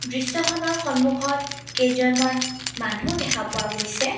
দৃশ্যখনৰ সন্মুখত কেইজনমান মানুহ দেখা পোৱা গৈছে।